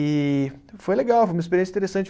E foi legal, foi uma experiência interessante.